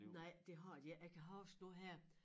Nej det har de ikke jeg kan huske nu her